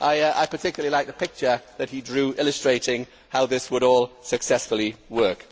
I particularly like the picture that he drew illustrating how all this would successfully work.